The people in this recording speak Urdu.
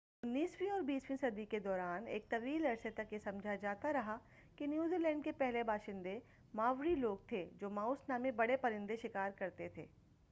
انیسویں اور بیسویں صدی کے دوران ایک طویل عرصے تک یہ سمجھا جاتا رہا کہ نیوزی لینڈ کے پہلے باشندے ماوری لوگ تھے جو ماوس نامی بڑے پرندے شکار کرتے تھے